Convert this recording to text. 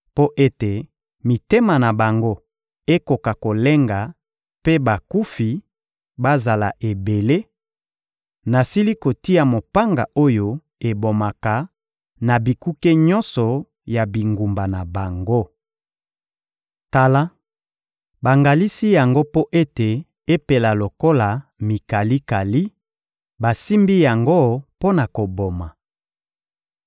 Mpo ete mitema na bango ekoka kolenga mpe bakufi bazala ebele, nasili kotia mopanga oyo ebomaka na bikuke nyonso ya bingumba na bango. Tala, bangalisi yango mpo ete epela lokola mikalikali; basimbi yango mpo na koboma!